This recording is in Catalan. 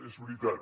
és veritat